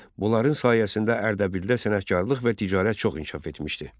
Bunların sayəsində Ərdəbildə sənətkarlıq və ticarət çox inkişaf etmişdi.